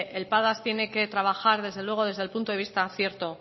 el padas tiene que trabajar desde luego desde el punto de vista cierto